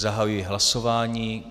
Zahajuji hlasování.